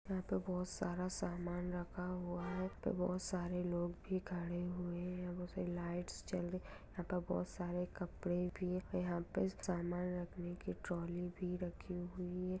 यहाँ पर बहुत सारा सामान रखा हुआ है बहुत सारे लोग भी खड़े हुए हैं बहुत सारी लाइट्स जल रही है यहाँ पे बहुत सारे कपड़े भी है यहाँ पे सामान रखने की ट्रौली भी रखी हुई है।